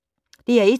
DR1